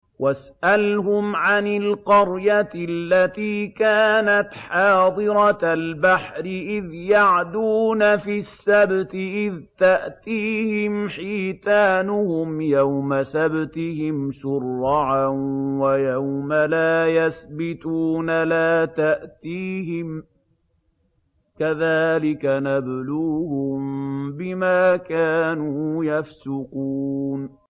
وَاسْأَلْهُمْ عَنِ الْقَرْيَةِ الَّتِي كَانَتْ حَاضِرَةَ الْبَحْرِ إِذْ يَعْدُونَ فِي السَّبْتِ إِذْ تَأْتِيهِمْ حِيتَانُهُمْ يَوْمَ سَبْتِهِمْ شُرَّعًا وَيَوْمَ لَا يَسْبِتُونَ ۙ لَا تَأْتِيهِمْ ۚ كَذَٰلِكَ نَبْلُوهُم بِمَا كَانُوا يَفْسُقُونَ